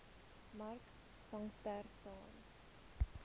mark sangster staan